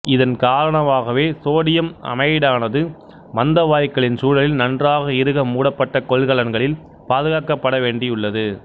இதன் காரணமாகவே சோடியம் அமைடானது மந்த வாயுக்களின் சூழலில் நன்றாக இறுக மூடப்பட்ட கொள்கலன்களில் பாதுகாக்கப்பட வேண்டியுள்ளது